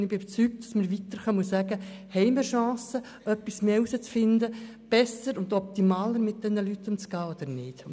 Ich bin überzeugt, dass wir weiterkommen und eine Chance haben, etwas mehr herauszufinden, um mit diesen Leuten besser oder optimal umzugehen.